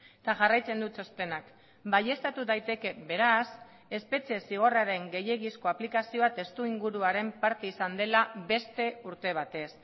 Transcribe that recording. eta jarraitzen du txostenak baieztatu daiteke beraz espetxe zigorraren gehiegizko aplikazioa testuinguruaren parte izan dela beste urte batez